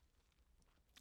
TV 2